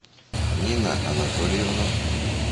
нина анатольевна